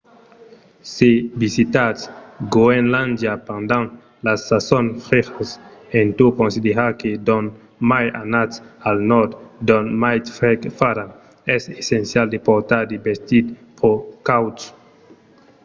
se visitatz groenlàndia pendent las sasons frejas en tot considerar que d'ont mai anatz al nòrd d'ont mai freg farà es essencial de portar de vestits pro cauds